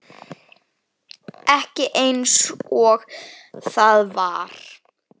Ekki einsog það var.